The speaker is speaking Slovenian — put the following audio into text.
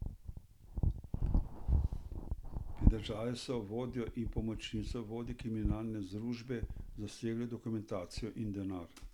Pridržali so vodjo in pomočnico vodje kriminalne združbe, zasegli dokumentacijo in denar.